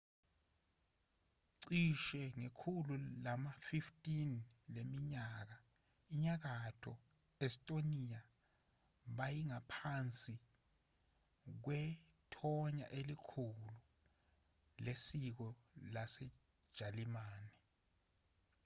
cishe ngekhulu lama-15 leminyaka inyakatho estonia beyingaphansi kwethonya elikhulu lesiko lasejalimane